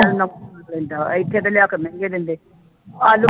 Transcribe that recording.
ਇੱਥੇ ਤਾਂ ਲਿਆ ਕੇ ਮਹਿੰਗੇ ਦਿੰਦੇ ਆਲੂ